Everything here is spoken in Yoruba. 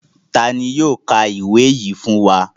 Ta ni yóò ka ìwé yìí fún wa?